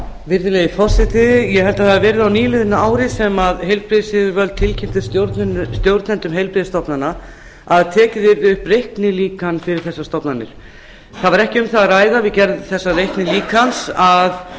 virðulegi forseti ég held að það hafi verið á nýliðnu ári sem heilbrigðisyfirvöld tilkynntu stjórnendum heilbrigðisstofnana að tekið yrði upp reiknilíkan fyrir þessar stofnanir það var ekki um það að ræða við gerð þessa reiknilíkans að